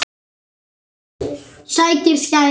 Sækir skæri.